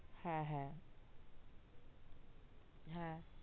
হ্যা হ্যা